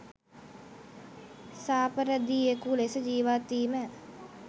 සාපරධියෙකු ලෙස ජීවත් වීම